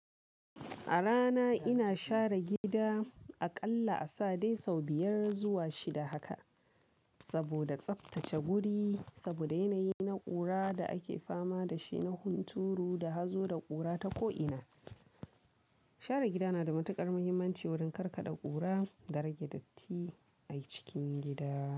A rana ina share gida aƙalla a sa dai sau biyar zuwa shida haka. Saboda tsaftace wuri, saboda yanayi na ƙura da ake fama da shi na hunturu da hazo da ƙura ta ko'ina. Share gida na da matuƙar muhimmanci wurin karkaɗa ƙura da rage datti a cikin gida.